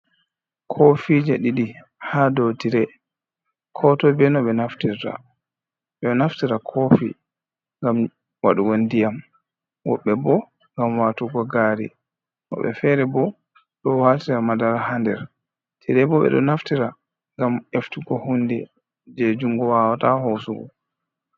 Kofi je ɗiɗi ha dow tire, kotoi be no ɓe naftirta, ɓeɗo naftira kofi ngam waɗugo ndiyam woɓɓe bo ngam watugo gari, woɓɓe fere bo ɗo watira madara ha nder. tire bo ɓeɗo naftira ngam eftugo hundi je jungo wawata hosugo.